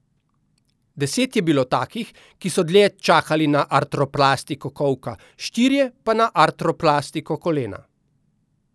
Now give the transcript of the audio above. Deset je bilo takih, ki so dlje čakali na artroplastiko kolka, štirje pa na artroplastiko kolena.